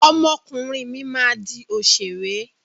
Ọmọ ọkùnrin mi máa di òṣèré.